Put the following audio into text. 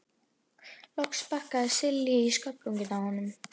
Loks sparkaði Silli í sköflunginn á honum.